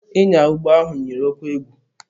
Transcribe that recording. Ịnya ụgbọ ahụ yiri oke egwu.